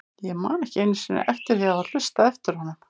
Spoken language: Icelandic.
Ég man ekki einu sinni eftir því að hafa hlustað eftir honum.